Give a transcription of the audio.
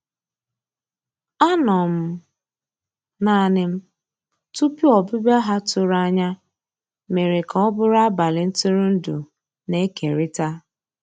Ànọ́ m naanì m tupu ọ́bị̀bị̀a ha tụ̀rù ànyá mèrè kà ọ́ bụ́rụ́ àbálị́ ntụ̀rụ̀ndụ́ na-èkérị̀ta.